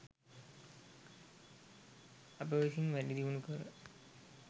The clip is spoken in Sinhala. අප විසින් වැඩිදියුණු කර